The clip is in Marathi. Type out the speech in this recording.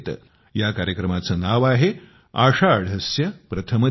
या कार्यक्रमाचे नाव आहे आषाढस्य प्रथम दिवसे